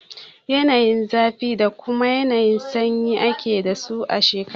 Yanayin zafi da kuma yanayin sanyi ake dasu a shekara.